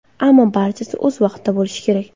Ammo barchasi o‘z vaqtida bo‘lishi kerak.